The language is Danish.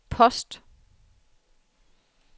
post